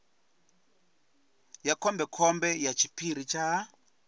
ya khombekhombe ya tshiphiri tsha